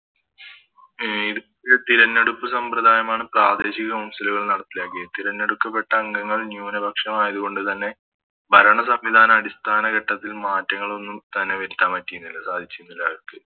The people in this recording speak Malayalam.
അഹ് തിരഞ്ഞെടുപ്പ് സാമ്രദയമാണ് പ്രാദേശിക Council കൾ നടപ്പിലാക്കിയത് തിരഞ്ഞെടുക്കപ്പെട്ട അംഗങ്ങൾ ന്യുനപക്ഷമായത് കൊണ്ട് തന്നെ ഭരണ സംവിധാന അടിസ്ഥാന ഘട്ടത്തിൽ മാറ്റങ്ങളൊന്നും തന്നെ വരുത്താൻ പറ്റിന്നില്ല സാധിച്ചിരുന്നില്ല അവര്ക്ക്